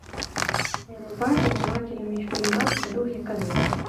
врубай занимательный фильмас в духе комедии